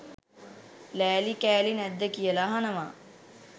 ලෑලි කෑලි නැද්ද කියලා අහනවා